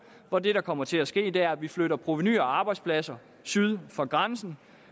hvor det der kommer til at ske er at vi flytter provenu og arbejdspladser syd for grænsen